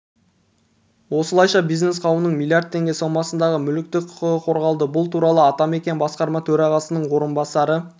осылайша бизнес қауымның млрд теңге сомасындағы мүліктік құқығы қорғалды бұл туралы атамекен басқарма төрағасының орынбасары